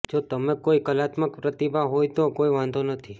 જો તમે કોઈ કલાત્મક પ્રતિભા હોય તો કોઈ વાંધો નથી